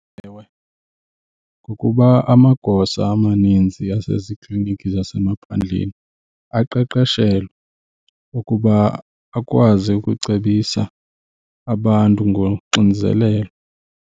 Ewe, ngokuba amagosa amaninzi asezikliniki zasemaphandleni aqeqeshelwe ukuba akwazi ukucebisa abantu ngoxinzelelo.